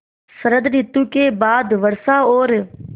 शरत ॠतु के बाद वर्षा और